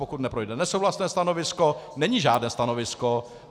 Pokud neprojde nesouhlasné stanovisko, není žádné stanovisko.